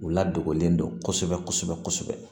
U ladonlen don kosɛbɛ kosɛbɛ